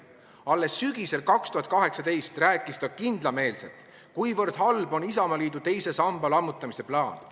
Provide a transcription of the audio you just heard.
Alles sügisel 2018 rääkis ta kindlameelselt, kuivõrd halb on Isamaa teise samba lammutamise plaan.